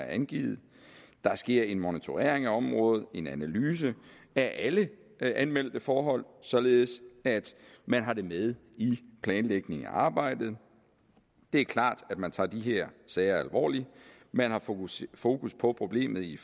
angivet der sker en monitorering af området og en analyse af alle anmeldte forhold således at man har det med i planlægningen af arbejdet det er klart at man tager de her sager alvorligt man har fokus fokus på problemet i